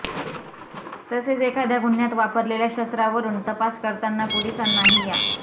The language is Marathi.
तसेच एखाद्या गुह्यात वापरलेल्या शस्त्रावरून तपास करताना पोलिसांनाही या